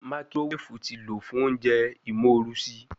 Makirowefu ti lo fun ounjẹ imorusi